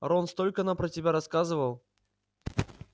рон столько нам про тебя рассказывал